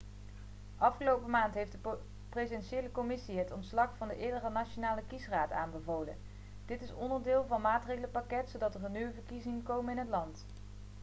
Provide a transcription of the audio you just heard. afgelopen maand heeft de presidentiële commissie het ontslag van de eerdere nationale kiesraad aanbevolen dit is onderdeel van een maatregelenpakket zodat er nieuwe verkiezingen komen in het land